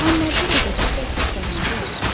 Amma bir o qədər də çox qazancı olmur.